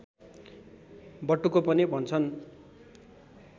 बटुको पनि भन्छन्